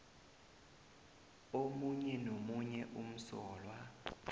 omunye nomunye umsolwa